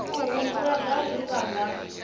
u humbula zwauri vha nga